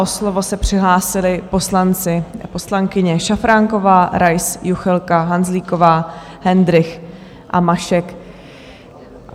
O slovo se přihlásili poslanci a poslankyně: Šafránková, Rais, Juchelka, Hanzlíková, Hendrych a Mašek